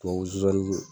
Tubabu zonzannin